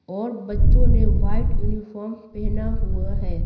और बच्चों ने वाइट यूनिफॉर्म पहना हुआ है।